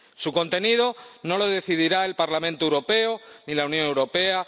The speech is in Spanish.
Su contenido no lo decidirá el Parlamento Europeo ni la Unión Europea.